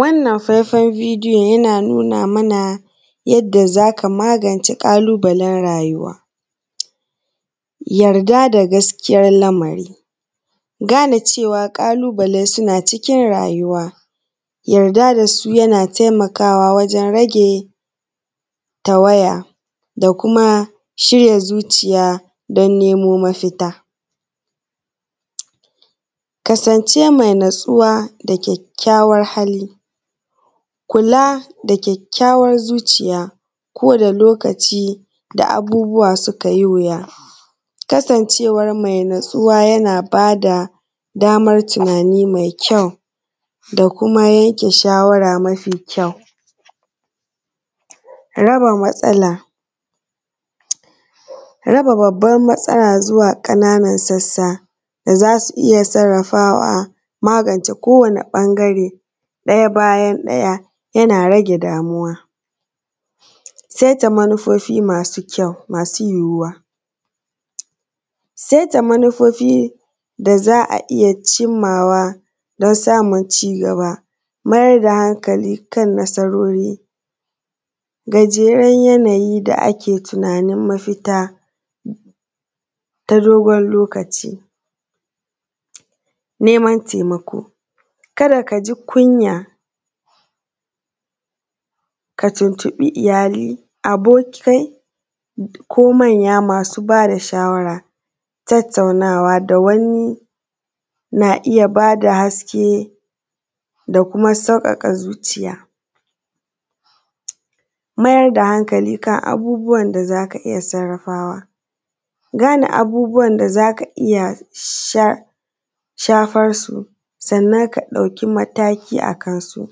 Wannan faifan bidiyon yana nuna mana yadda za ka magance ƙalubalen rayuwa yarda da gaskiyan lamari gane cewa ƙalubale suna cikin rayuwa yarda da su yana taimakawa wajen rage tawaya da kuma shirya zuciya don nemo mafita, kasance mai natsuwa da kyakkyawar hali kula da kyakkyawan zuciya ko da lokaci da abubuwa suka yi wuya, kasancewa mai natsuwa yana ba da dammar tunani mai kyau da kuma yanke shawara mare kyau, raba matsala, raba babban matsala zuwa ƙananan sassa da za su iya sarrafawa wajen magance ko wane ɓangare ɗaya bayan ɗaya yana rage damuwa, saita manufofi masu kyau masu yiwuwa, saita manufofi da za a iya yi don samun cigaba, mayar da hankali kan nasarori gajeren yanayi da ake tunanin mafita ta dubar lokaci, neman taimako ka da kaji kunya ka tuntuɓi iyali, abokai ko manya masu ba da shawara, tattaunawa da wani na iya ba da haske da kuma sassauƙa zuciya, mayar da hankali kan abubuwan da za ka iya sarrafawa, gane abubuwan da za ka iya shafan su. Sannan ka ɗauki mataki akan su,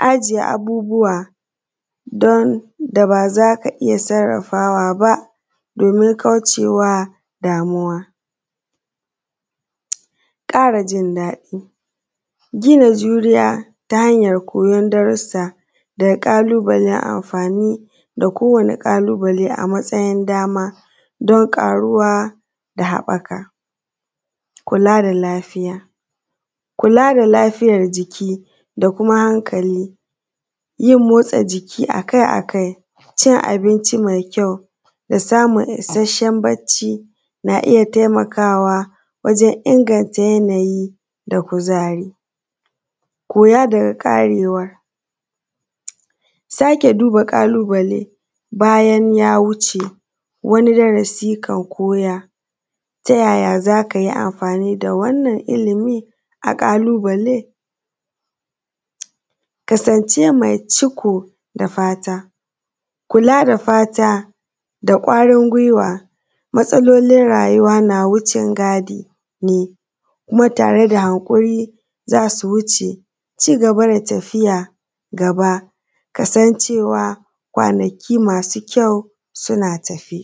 gane abubuwan da ba za ka iya sarrafawa ba domin kaucewa damuwa, ƙara jin daɗi, gina juriya ta hanyan koyan darussa da kowane ƙalubale a matsayin dama don ƙaruwa da haɓaka kula da lafiyar jiki da kuma hankali, motsa jiki a kai-akai, cin abinci mai kyau da samun isasshen bacci na iya taimakawa wajen inganta yanayi da kuzari, kula da ƙarewa, sake duba ƙalubale bayan ya wuce, sake duba darasi. Ta yaya za ka yi amfani da wannan ilimi na ƙalubale? Kasance mai ciko da fata, kula da fata da kwarin gwiwa, matsalolin rayuwa na wucengadi ne kuma tare da haƙuri za su wuce, ci gaba da tafiya gaba manufofi masu kyau suna tafe.